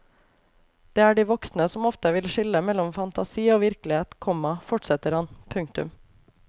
Det er de voksne som ofte vil skille mellom fantasi og virkelighet, komma fortsetter han. punktum